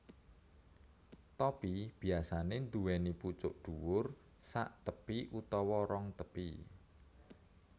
Topi biyasanè nduwèni pucuk dhuwur saktepi utawa rong tepi